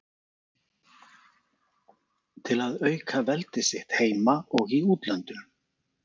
til að auka veldi sitt heima og í útlöndum.